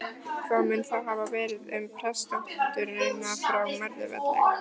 Hvað mun þá hafa verið um prestsdótturina frá Möðrufelli?